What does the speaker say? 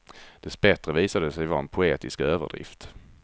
Dessbättre visade det sig vara en poetisk överdrift.